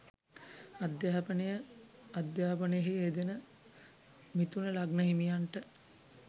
අධ්‍යාපනය අධ්‍යාපනයෙහි යෙදෙන මිථුන ලග්න හිමියන්ට